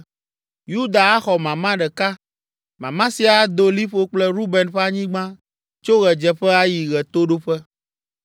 Yuda axɔ mama ɖeka. Mama sia ado liƒo kple Ruben ƒe anyigba tso ɣedzeƒe ayi ɣetoɖoƒe.